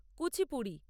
Kuchipudi